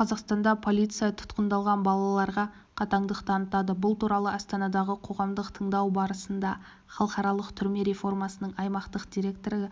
қазақстанда полиция тұтқандалған балаларға қатаңдық танытады бұл туралы астанадағы қоғамдық тыңдау барысында халықаралық түрме реформасының аймақтық директоры